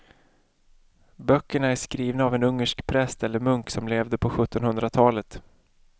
Böckerna är skrivna av en ungersk präst eller munk som levde på sjuttonhundratalet.